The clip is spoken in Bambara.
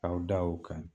K'aw da o kan